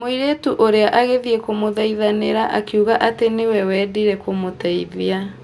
Mũirĩtu ũrĩa agĩthiĩ kũmũthaithanĩra akiuga atĩ niwe wendire kũmũteithia.